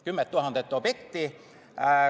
10 000 objekti.